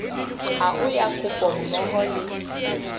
hao ya kopo mmoho le